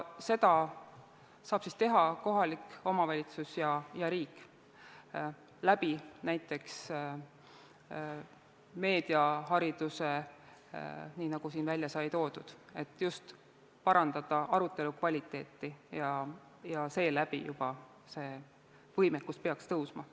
Seda saavad teha kohalik omavalitsus ja riik, näiteks meediahariduse abil, nii nagu siin välja sai toodud, et parandada arutelu kvaliteeti, seeläbi see võimekus peaks tõusma.